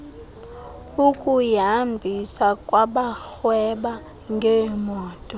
ukuyihambisa kwabarhweba ngeemoto